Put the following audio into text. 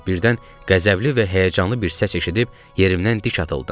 Birdən qəzəbli və həyəcanlı bir səs eşidib yerimdən dik atıldım.